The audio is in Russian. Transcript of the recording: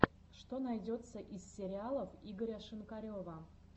что найдется из сериалов игоря шинкарева